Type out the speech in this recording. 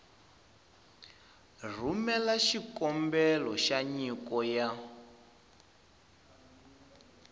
rhumela xikombelo xa nyiko ya